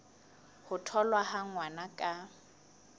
ho tholwa ha ngwana ka